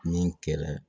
Ni kɛlɛ